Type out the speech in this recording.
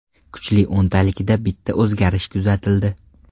Kuchli o‘ntalikda bitta o‘zgarish kuzatildi.